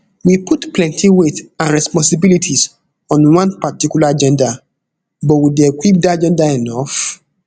we put plenti weight and responsibilities on one particular gender but we dey equip dat gender enough